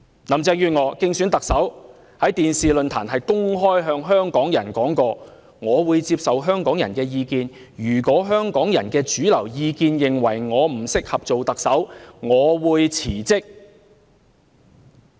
林鄭月娥在競選特首期間，曾在電視論壇上公開向香港市民表示，她會接受香港人的意見，如果香港的主流意見認為她不適合擔任特首，她便會辭職。